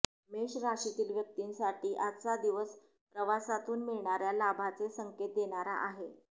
मेष राशीतील व्यक्तींसाठी आजचा दिवस प्रवासातून मिळणाऱ्या लाभाचे संकेत देणारा आहे